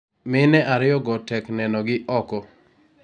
mine ariyo go tek neno gi oko.